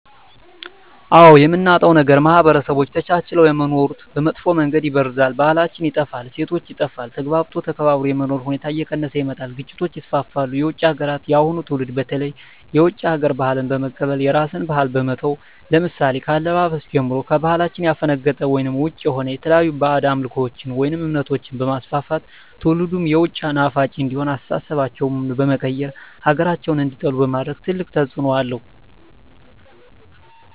አዎ የምናጣዉ ነገር ማህበረሰቦች ተቻችለዉ የሚኖሩትን በመጥፋ መንገድ ይበርዛል ባህላችን ይጠፋል እሴቶች ይጠፋል ተግባብቶ ተከባብሮ የመኖር ሁኔታዎች እየቀነሰ ይመጣል ግጭቶች ይስፍፍሉ የዉጭ ሀገራትን የአሁኑ ትዉልድ በተለይ የዉጭ ሀገር ባህልን በመቀበል የራስን ባህል በመተዉ ለምሳሌ ከአለባበስጀምሮ ከባህላችን ያፈነቀጠ ወይም ዉጭ የሆነ የተለያዩ ባእጅ አምልኮችን ወይም እምነቶችንበማስፍፍት ትዉልዱም የዉጭ ናፋቂ እንዲሆን አስተሳሰባቸዉ በመቀየር ሀገራቸዉን እንዲጠሉ በማድረግ ትልቅ ተፅዕኖ አለዉ